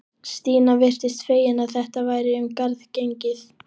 Stína virtist fegin að þetta væri um garð gengið.